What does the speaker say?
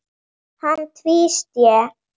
Hann tvísté.